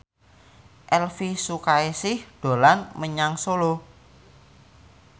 Elvi Sukaesih dolan menyang Solo